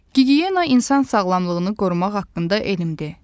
Gigiyena insan sağlamlığını qorumaq haqqında elmdir.